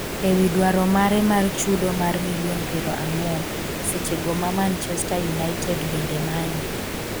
e wi dwaro mare mar chudo mar milion piero ang'wen, seche go ma Manchester United bende manye